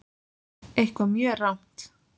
Eitthvað mjög rangt.